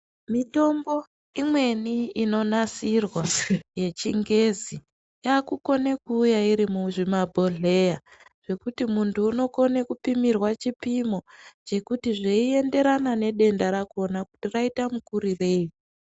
Mitombo imweni inonasirwa yechingezi, yaakukona kuuya iri muzvimabhohleya, zvekuti mundu unokona kupimirwa chipimo chekuti zveienderana nedenda rakona kuti raita makurirei.